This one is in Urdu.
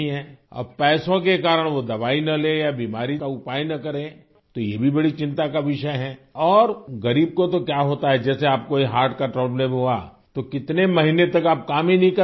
اب پیسوں کی وجہ سے وہ دوا نہ لے اور بیماری کا علاج نہ کرے تو یہ بھی بڑی تشویش کی بات ہے اور غریب کو تو کیا ہوتا ہے جیسے آپ کو یہ دل کا عارضہ ہوا تو کتنے مہینے تک تو آپ کام ہی نہیں کرپائیں ہوں گے